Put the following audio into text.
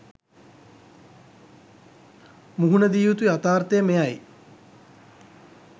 මුහුණදිය යුතු යතාර්ථය මෙයයි.